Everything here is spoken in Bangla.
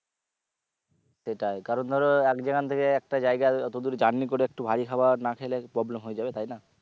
সেটাই কারণ ধরো এক যেখান থেকে একটা জায়গা অতদূর journey করে একটু ভারী খাওয়ার না খেলে problem হয়ে যাবে তাই না